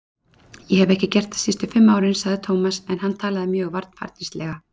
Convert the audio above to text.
Ég hef ekki gert það síðustu fimm árin sagði Tómas en hann talaði mjög varfærnislega.